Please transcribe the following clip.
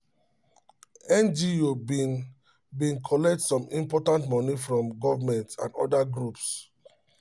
ngo been been collect some important money from government and other groups